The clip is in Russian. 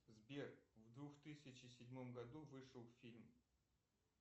сбер в двух тысячи седьмом году вышел фильм